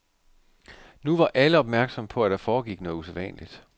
Nu var alle opmærksomme på, at der foregik noget usædvanligt.